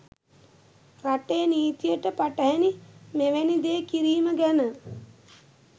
රටේ නීතියට පටහැනි මෙවැනි දේ කිරීම ගැන